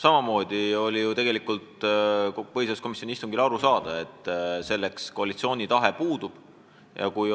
Samamoodi oli ka põhiseaduskomisjoni istungil aru saada, et koalitsiooni tahe eelnõu vastu võtta puudub.